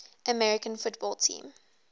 american football team